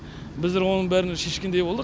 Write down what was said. біздер оның бәрін шешкендей болдық